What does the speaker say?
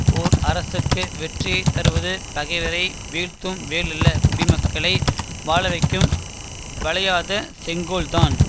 ஓர் அரசுக்கு வெற்றியை தருவது பகைவரை வீழ்த்தும் வேலல்ல குடிமக்களை வாழவைக்கும் வளையாத செங்கோல்தான்